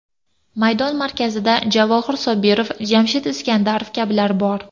Maydon markazida Javohir Sohibov, Jamshid Iskandarov kabilar bor.